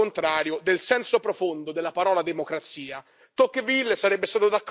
Tocqueville sarebbe stato d'accordo con me questa è una tirannia della maggioranza.